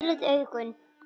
Þú nýrð augun.